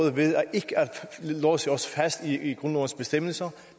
låse os fast i grundlovens bestemmelser